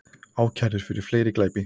Ákærður fyrir fleiri glæpi